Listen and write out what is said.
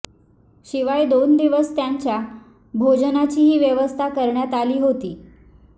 शिवाय दोन दिवस त्यांच्या भोजनाचीही व्यवस्था करण्यात आली होती